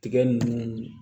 Tiga nunnu